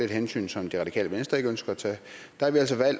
hensyn som det radikale venstre ikke ønsker at tage